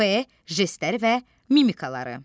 F. jestləri və mimikaları.